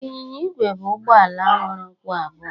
Ịnyịnya igwe bụ ụgbọ ala nwere ụkwụ abụọ